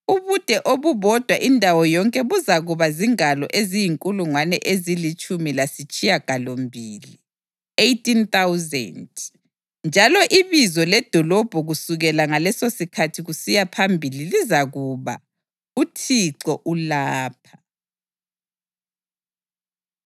“Ubude obubhoda indawo yonke buzakuba zingalo eziyinkulungwane ezilitshumi lasitshiyagalombili (18,000). Njalo ibizo ledolobho kusukela ngalesosikhathi kusiya phambili lizakuba: ‘ uThixo ulapha.’ ”